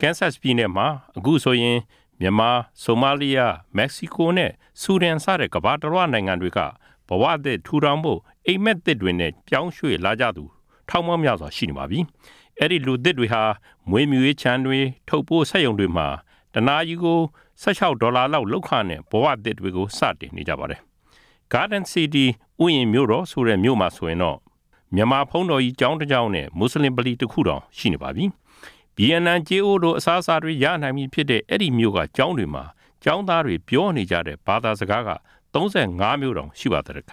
ကန်ဆက်ပြည်နယ်မှာ အခုဆိုရင် မြန်မာ၊ ဆိုမာလီးယား၊ မက္ကဆီကိုနဲ့ ဆူဒါန်စတဲ့ ကမ္ဘာတလွှားနိုင်ငံတွေက ဘဝသစ်ထူထောင်ဖို့ အိပ်မက်သစ်တွေနဲ့ ပြောင်းရွှေ့လာကြသူ ထောင်ပေါင်းများစွာ နေထိုင်လျှက်ရှိပါပြီ။ အဲဒီလူသစ်တွေဟာ မွေးမြူရေးခြံတွေ ထုတ်ပိုးစက်ရုံတွေမှာ တနာရီကို ၁၆ ဒေါ်လာလောက်လုပ်ခနဲ့ ဘဝသစ်ကို စတင်နေကြပါတယ်။ ဂါဒင်စီးတီး Garden City (ဥယျဉ်မြို့တော်) လို့ခေါ်တဲ့မြို့မှာဆိုရင် ဘုန်းတော်ကြီးတကျောင်း နဲ့ မွတ်စလင်ဗလီ တခုတောင် ရှိနေပါပြီ။ ဗီယက်နမ်ကြေးအိုးလို အစားအစာတွေ ရနိုင်ပြီဖြစ်တဲ့ အဲဒီမြို့က ကျောင်းတွေမှာ ကျောင်းသားတွေပြောနေကြတဲ့ ဘာသာစကားက ၃၅ မျိုး တောင် ရှိပါသတဲ့။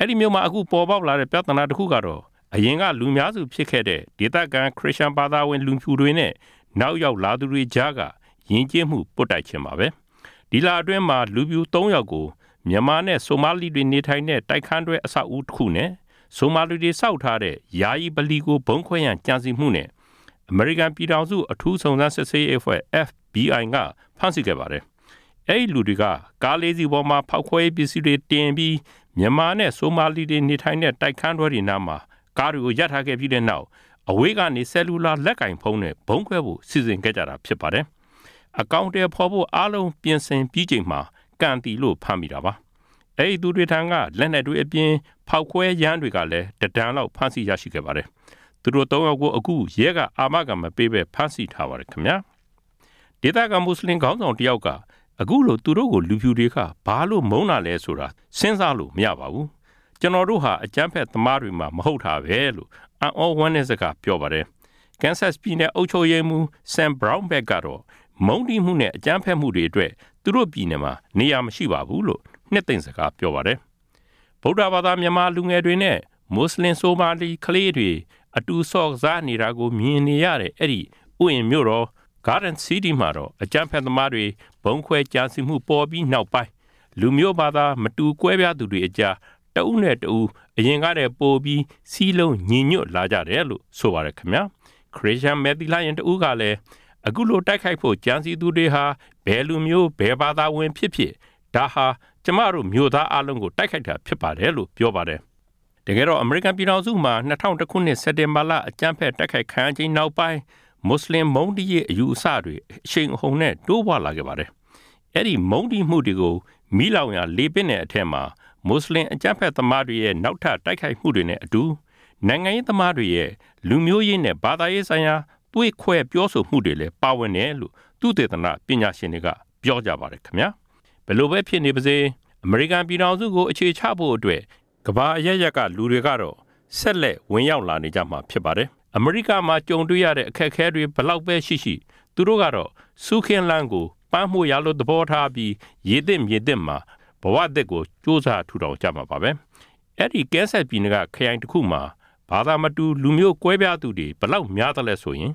အဲဒီမြို့မှာ အခုပေါ်ပေါက်လာတဲ့ ပြဿနာတခုကတော့ အရင်ကလူများစုဖြစ်ခဲ့တဲ့ ဒေသခံ ခရစ်ယန်ဘာသာဝင် လူဖြူတွေနဲ့ နောက်ရောက်လာသူတွေကြားက ယဉ်ကျေးမှုပွတ်တိုက်ခြင်းပါပဲ။ ဒီလအတွင်းမှာ လူဖြူ ၃ ယေက် ကို မြန်မာနဲ့ဆိုမာလီတွေနေထိုင်တဲ့ တိုက်ခန်းတွဲ အဆောက်အဦးတခုနဲ့ ဆိုမာလီတွေဆောက်ထားတဲ့ ယာယီဗလီကို ဗုံးခွဲရန်ကြံစီမှုအတွက် အမေရိကန်ပြည်ထောင်စု အထူးစုံစမ်းစစ်ဆေးရေးအဖွဲ့ FBI က ဖမ်းဆီးခဲ့ပါတယ်။ အဲဒီလူတွေဟာ ကား ၄ စီးပေါ်မှာ ဖေါက်ခွဲရေးပစ္စည်းတွေတင်ပြီး မြန်မာနဲ့ ဆိုမာလီတွေ နေကြတဲ့ တိုက်ခန်းတွဲတွေနားမှာ ကားကိုရပ်ထားခဲ့ပြီးနောက် အဝေးကနေ ဆယ်လူလာလက်ကိုင်ဖုန်းနဲ့ ဗုံးခွဲဖို့စီစဉ်ခဲ့ကြတာ ဖြစ်ပါတယ်။ အကောင်အထည်ဖေါ်ဖို့ အားလုံးပြင်ဆင်ပြီးချိန်မှာ ကံသီလို့ ဖမ်းမိတာပါ။ အဲဒီ သူတွေထံက လက်နက်တွေအပြင် ဖေါက်ခွဲယမ်းတွေလည်း တတန်လောက်ရရှိခဲ့ပါတယ်။ သူတို့ ၃ ယောက်ကို ရဲက အခု အာမခံမပေးဘဲ ဖမ်းဆီးထားပါတယ်။ ဒေသခံ မွတ်စလင်ခေါင်းဆောင်တယောက်က အခုလို သူတို့ကို လူဖြူတွေက ဘာလို့ မုန်းတာလဲဆိုတာ စဉ်းစားလို့မရပါဘူး။ ကျနော်တို့ဟာ အကြမ်းဖက်သမားတွေမှ မဟုတ်တာဘဲလို့ အံသြဝမ်းနည်းစကား ပြောပါတယ်။ ကန်ဆက်ပြည်နယ် အုပ်ချုပ်ရေးမှူး Sam Brownback ဆမ် ဘရောင်းဘက် ကတော့ မုန်းတီးမှုနဲ့ အကြမ်းဖက်မှုတွေအတွက် သူတို့ပြည်နယ်မှာ နေရာမရှိပါဘူးလို့ နှစ်သိမ့်စကားပြောပါတယ်။ ဗုဒ္ဓဘာသာ မြန်မာလူငယ်တွေနဲ့ မွတ်စလင်ဆိုမာလီကလေးတွေ အတူဆော့ကစားတာကို မြင်နေရတဲ့ အဲဒီ ဥယျဉ်မြို့တော် Garden City မှာတော့ အကြမ်းဖက်သမားတွေ ဗုံးခွဲကြံစည်းမှုပေါ်ပြီးနောက်ပိုင်းမှာ လူမျိုးဘာသာ မတူကွဲပြားသူတွေအကြား တဦးနဲ့တဦး ပိုပြီးစည်းလုံး ညီညွတ်လာကြတယ်လို့ ဆိုပါတယ်။ ခရစ်ယာန် မယ်သီလရှင်တဦးကလည်း အခုလိုတိုက်ခိုက်ဖို့ ကြံစည်သူတွေဟာ ဘယ်သူတွေပဲဖြစ်ဖြစ် ဒါဟာ ကျမတို့မြို့သားအားလုံး တိုက်ခိုက်ခံရတာပဲလို့ ပြောပါတယ်။ တကယ်တော့ အမေရိကန်ပြည်ထောင်စုမှာ ၂ဝဝ၁ ခုနှစ် စက်တင်ဘာလ အကြမ်ဖက်တိုက်ခိုက်ခံရချိန်နောက်ပိုင်း မွတ်စလင်မုန်းတီးရေး အယူအဆတွေ အရှိန်အဟုန်နဲ့ တိုးပွားလာခဲ့ပါတယ်။ အဲဒီ မုန်းတီးမှုတွေကို မီးလောင်ရာ လေပင့်တဲ့ အထဲမှာ မွတ်စလင်အကြမ်းဖက်သမားတွေရဲ့ နောက်ထပ်တိုက်ခိုက်မှုတွေနဲ့အတူ နိုင်ငံရေးသမားတွေ ရဲ့ လူမျိုးရေးနဲ့ ဘာသာရေးဆိုင်ရာ သွေးခွဲပြောဆိုမှုတွေလည်း ပါဝင်တယ်လို့ သုတေသန ပညာရှင်တွေက ပြောနေကြပါတယ်။ ဘာပဲဖြစ်ဖြစ် အမေရိကန်ပြည်ထောင်စုကို အခြေချဖို့အတွက် ကမ္ဘာအရပ်ရပ်ကလူတွေကတော့ ဆက်လက် ဝင်ရောက်လာနေကြမှာဖြစ်ပါတယ်။ အမေရိကမှာကြုံတွေ့ရတဲ့ အခက်အခဲတွေ ဘယ်လောက်ပဲရှိရှိ သူတို့ကတော့ ဆူးခင်းလမ်းကို ပန်းမွေ့ယာလို သဘောထားပြီး ရေသစ်မြေသစ်မှာ ဘဝသစ်ကို ကြိးစား ထူထောင်ကြမှာပါပဲ။ အဲဒီ Kansas ကန်ဆက်ပြည်နယ်က Finney ဖင်းနီခရိုင်မှာ ဘာသာမတူ လူမျိုးကွဲပြားသူတွေ အခု ဘယ်လောက်များသလဲဆိုရင်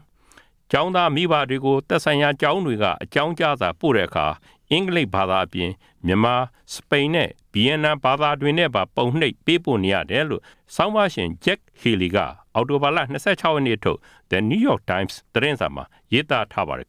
ကျောင်းသားမိဘတွေကို သက်ဆိုင်ရာကျောင်းတွေက အကြောင်းကြားစာ ပို့တဲ့အခါ အင်္ဂလိပ်ဘာသာအပြင် မြန်မာ၊ စပိန် နဲ့ ဗီယက်နမ် ဘာသာတွေနဲ့ပါ ရိုက်နှိပ်ပေးပို့နေရတယ်လို့ ဆောင်းပါးရှင် Jack Healy ဂျက် ဟီလီ က အောက်တိုဘာ ၂၆ နေ့ထုတ် The New York Times သတင်းစာမှာ ရေးသားထားပါတယ်